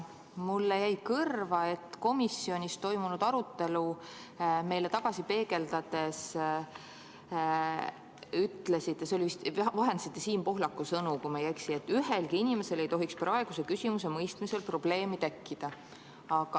Mulle jäi kõrva, et komisjonis toimunud arutelu meile tagasi peegeldades ütlesite – vist vahendasite Siim Pohlaku sõnu, kui ma ei eksi –, et ühelgi inimesel ei tohiks praeguse küsimuse mõistmisel probleemi tekkida.